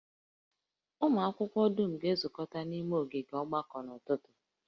Ụmụ akwụkwọ dum ga-ezukọta n'ime ogige mgbakọ n'ụtụtụ